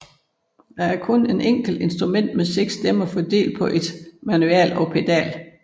Det er en enkelt instrument med seks stemmer fordelt på ét manual og pedal